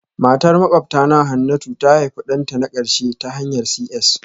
Matar makwabtana Hannatu ta haifi ɗanta na ƙarshe ta hanyar CS